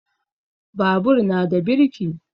Babur na da birki